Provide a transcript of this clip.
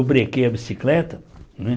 Eu brequei a bicicleta, né?